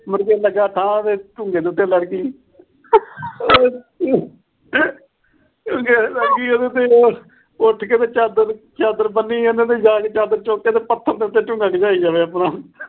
ਮੁੜਕੇ ਲੱਗਾ ਠਾਹ ਤੇ ਤੇ ਲੜ ਗਈ। ਤੇ ਲੜ ਗਈ ਉਹ ਤੇ ਉੱਠ ਕੇ ਚਾਦਰ ਅਹ ਚਾਦਰ ਬੰਨੀ ਜਾਂਦਾ। ਚਾਦਰ ਚੁੱਕ ਕੇ ਪੱਥਰ ਉਤੇ ਝੁੱਗਾ ਝੁਗਾਈ ਜਾਵੇ ਆਪਣਾ।